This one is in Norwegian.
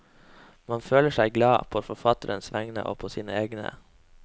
Man føler seg glad, på forfatterens vegne og på sine egne.